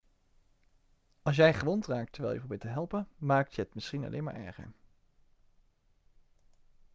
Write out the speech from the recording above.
als jij gewond raakt terwijl je probeert te helpen maak je het misschien alleen maar erger